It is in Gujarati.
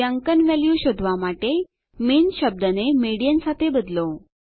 મધ્યાંકન વેલ્યુ શોધવા માટે મિન શબ્દને મીડિયન સાથે બદલો